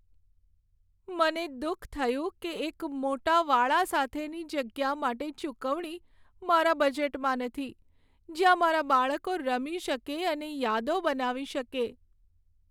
મને દુઃખ થયું કે એક મોટા વાડા સાથેની જગ્યા માટે ચૂકવણી મારા બજેટમાં નથી, જ્યાં મારા બાળકો રમી શકે અને યાદો બનાવી શકે.